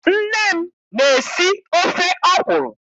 Nne m na- esi ofe ọkwụrụ.